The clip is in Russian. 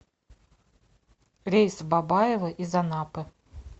рейс в бабаево из анапы